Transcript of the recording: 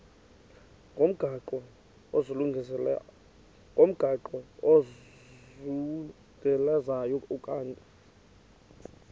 ngomgaqo ozungulezayo ukanti